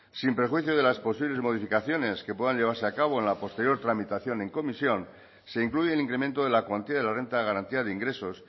sin prejuicio de las posibles modificaciones que puedan llevarse a cabo en la posterior tramitación en comisión se incluye el incremento de la cuantía de la renta de garantía de ingresos